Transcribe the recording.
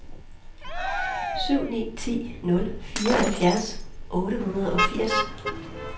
syv ni to nul fireoghalvfjerds otte hundrede og firs